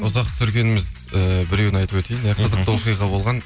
ұзақ түсіргеніміз ііі біреуін айтып өтейін иә қызықты оқиға болған